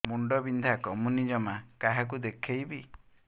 ମୁଣ୍ଡ ବିନ୍ଧା କମୁନି ଜମା କାହାକୁ ଦେଖେଇବି